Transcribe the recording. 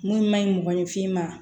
Mun man ɲi mɔgɔninfin ma